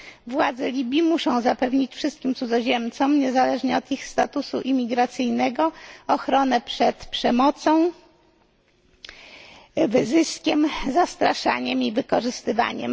Władze Libii muszą zapewnić wszystkim cudzoziemcom, niezależnie od ich statusu imigracyjnego, ochronę przed przemocą, wyzyskiem, zastraszaniem i wykorzystywaniem.